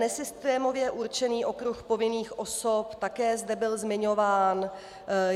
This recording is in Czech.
Nesystémově určený okruh povinných osob také zde byl zmiňován.